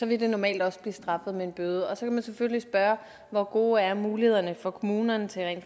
vil normalt også blive straffet med en bøde så kan man selvfølgelig spørge hvor gode er mulighederne for kommunerne til at